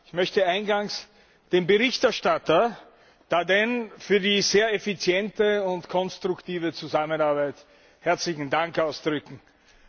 Ich möchte eingangs dem Berichterstatter Daerden für die sehr effiziente und konstruktive Zusammenarbeit herzlichen Dank sagen.